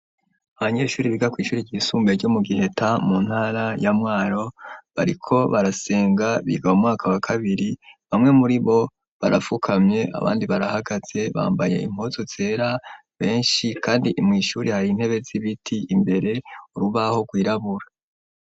Abanyeshuri biga kw'ishuri ryisumbuye ryo mu Giheta mu ntara ya Mwaro, bariko barasenga biga mu mwaka wa kabiri ,bamwe muri bo barafukamye abandi barahagaze bambaye impuzu zera benshi ,kandi mw'ishuri hari intebe z'ibiti ,imbere urubaho gwirabura.